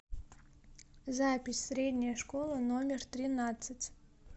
запись средняя школа номер тринадцать